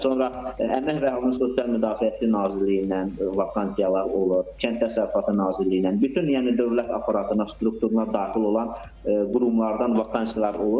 Sonra Əmək və Əhalinin Sosial Müdafiəsi Nazirliyindən vakansiyalar olur, Kənd Təsərrüfatı Nazirliyindən, bütün yəni dövlət aparatına struktura daxil olan qurumlardan vakansiyalar olur.